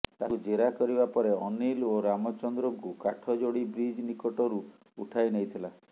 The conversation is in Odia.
ତାକୁ ଜେରା କରିବା ପରେ ଅନିଲ ଓ ରାମଚନ୍ଦ୍ରଙ୍କୁ କାଠଯୋଡ଼ି ବ୍ରିଜ ନିକଟରୁ ଉଠାଇ ନେଇଥିଲା